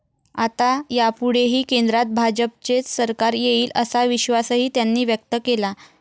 आता यापुढेही केंद्रात भाजपचेच सरकार येईल असा विश्वासही त्यांनी व्यक्त केला.